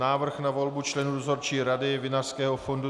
Návrh na volbu člena Dozorčí rady Vinařského fondu